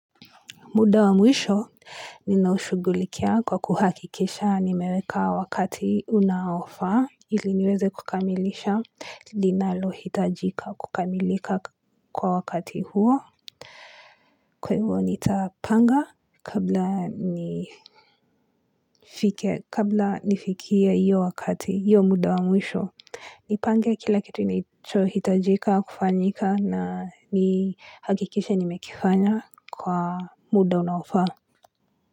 Muda wa mwisho ninaushugulikia kwa kuhakikisha nimeweka wakati unaofaa ili niweze kukamilisha linalohitajika kukamilika kwa wakati huo. Kwa hivyo nitapanga kabla nifikie hiyo wakati, hiyo muda wa mwisho, nipange kila kitu nicho hitajika kufanyika na nihakikishe nimekifanya kwa muda unaofaa.